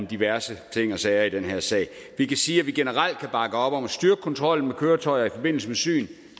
diverse ting og sager i den her sag jeg kan sige at vi generelt kan bakke op om at styrke kontrollen med køretøjer i forbindelse med syn